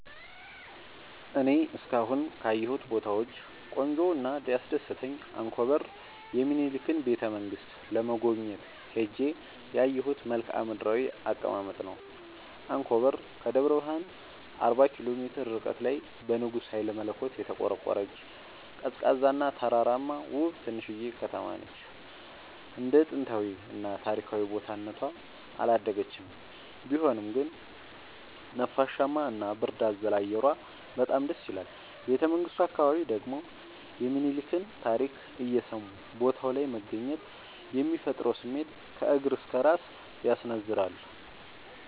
እኔ እስካሁን ካየሁት ቦታወች ቆንጆው እና ያስደሰተኝ አንኮበር የሚኒልክን ቤተ-መንግስት ለመጎብኘት ሄጄ ያየሁት መልከአ ምድራዊ አቀማመጥ ነው። አንኮበር ከደብረ ብረሃን አርባ ኪሎ ሜትር ርቀት ላይ በንጉስ ሀይለመለኮት የተቆረቆረች፤ ቀዝቃዛ እና ተራራማ ውብ ትንሽዬ ከተማነች እንደ ጥንታዊ እና ታሪካዊ ቦታ እነቷ አላደገችም ቢሆንም ግን ነፋሻማ እና ብርድ አዘል አየሯ በጣም ደስይላል። ቤተመንግቱ አካባቢ ደግሞ የሚኒልክን ታሪክ እየሰሙ ቦታው ላይ መገኘት የሚፈጥረው ስሜት ከእግር እስከ እራስ ያስነዝራል።